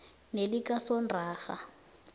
nelikasontonga